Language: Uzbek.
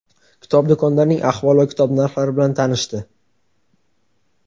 kitob do‘konlarining ahvoli va kitob narxlari bn tanishdi.